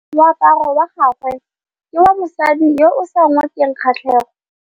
Moaparô wa gagwe ke wa mosadi yo o sa ngôkeng kgatlhegô.